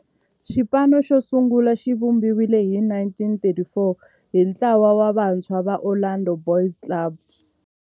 Xipano xosungula xivumbiwile hi 1934 hi ntlawa wa vantshwa va Orlando Boys Club.